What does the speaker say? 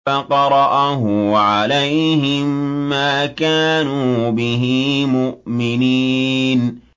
فَقَرَأَهُ عَلَيْهِم مَّا كَانُوا بِهِ مُؤْمِنِينَ